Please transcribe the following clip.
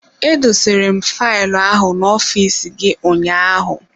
Edosere m faịlụ ahụ n'ofiisi gị ụnyaahụ.